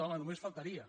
home només faltaria